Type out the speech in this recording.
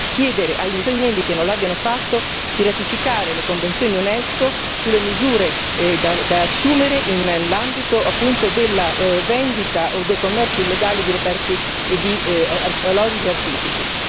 chiedere agli Stati membri che non l'abbiano fatto di ratificare le convenzioni Unesco sulle misure da assumere nell'ambito appunto della vendita o del commercio illegale di reperti archeologici o artistici.